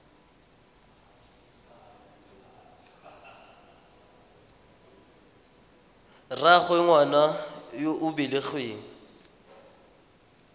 rraagwe ngwana yo o belegweng